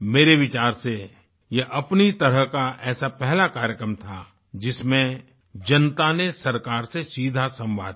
मेरे विचार से यह अपनी तरह का ऐसा पहला कार्यक्रम था जिसमें जनता ने सरकार से सीधा संवाद किया